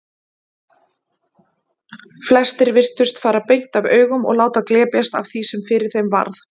Flestir virtust fara beint af augum og láta glepjast af því sem fyrir þeim varð.